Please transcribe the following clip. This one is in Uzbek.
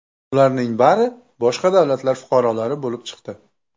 Ularning bari boshqa davlatlar fuqarolari bo‘lib chiqdi.